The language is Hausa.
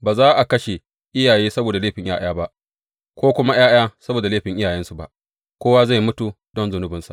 Ba za a kashe iyaye saboda laifin ’ya’ya ba, ko kuma ’ya’ya saboda laifin iyayensu ba, kowa zai mutu don zunubansa.